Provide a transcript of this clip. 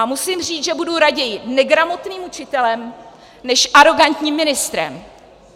A musím říct, že budu raději negramotným učitelem než arogantním ministrem.